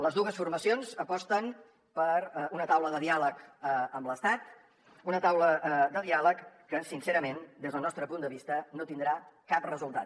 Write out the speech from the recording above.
les dues formacions aposten per una taula de diàleg amb l’estat una taula de diàleg que sincerament des del nostre punt de vista no tindrà cap resultat